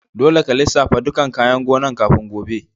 Dolle ka lissafa ɗukan kayan gonan' kafin gobe!